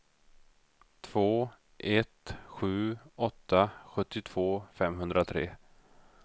två ett sju åtta sjuttiotvå femhundratre